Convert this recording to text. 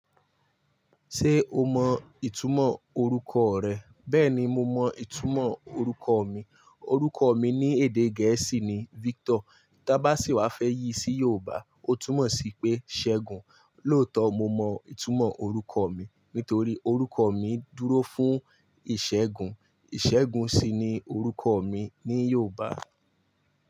Ṣé o mọ ìtumọ̀ orúkọ rẹ? Bẹ́ẹ̀ni, mó mọ ìtumọ̀ orúkọ mi. Orúkọ mi ní èdè Gẹ̀ẹ́sì ni Victor. Tí a bá sì wá fẹ́ yí sí Yorùbá, ó túmọ̀ sí pé Ṣẹ́gun. Lóòótọ́ mó mọ ìtumọ̀ orúkọ mi, nítorí orúkọ mi dúró fún ìṣẹ́gun. Ìṣẹ́gun sì ni orúkọ mi ní Yorùbá.